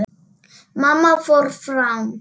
Mamma fór fram.